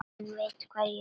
Hann veit hvar ég bý.